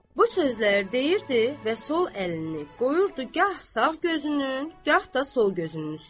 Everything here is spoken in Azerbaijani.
Bu sözləri deyirdi və sol əlini qoyurdu gah sağ gözünün, gah da sol gözünün üstünə.